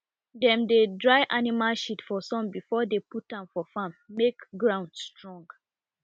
dem dey dry animal shit for sun before dey put am for farm make ground strong